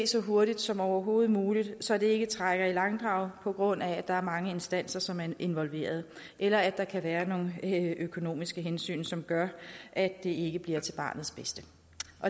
så hurtigt som overhovedet muligt så det ikke trækker i langdrag på grund af at der er mange instanser som er involveret eller at der kan være nogle økonomiske hensyn som gør at det ikke bliver til barnets bedste